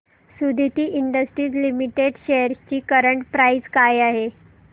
Suditi industries limited shares ची current price काय आहे